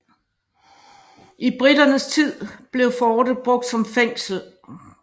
I briternes tid blev fortet brugt som fængsel